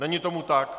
Není tomu tak.